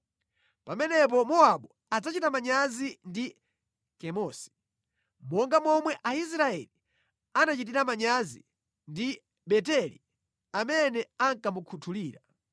Pamenepo Mowabu adzachita manyazi ndi Kemosi, monga momwe Aisraeli anachitira manyazi ndi Beteli amene ankamukhutulira.